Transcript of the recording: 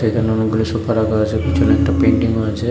এখানে অনেকগুলি সোফা রাখা আছে পিছনে একটা পেইন্টিংও আছে।